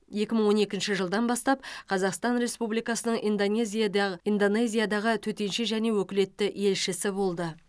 екі мың он екінші жылдан бастап қазақстан республикасының индонезиядяғы индонезиядағы төтенше және өкілетті елшісі болды